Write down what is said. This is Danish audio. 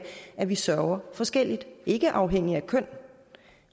at vi sørger forskelligt ikke afhængigt af køn